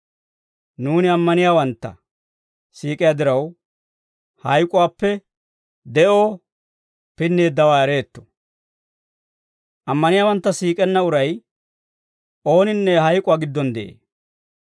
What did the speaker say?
Nuuni ammaniyaawantta siik'iyaa diraw, hayk'uwaappe de'oo pinneeddawaa ereetto; ammaniyaawantta siik'enna uray ooninne hayk'uwaa giddon de'ee.